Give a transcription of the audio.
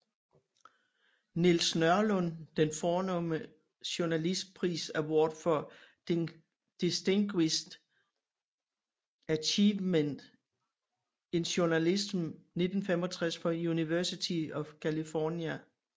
Niels Nørlund den fornemme journalistpris Award For Distinguished Achievement in Journalism 1965 fra University of California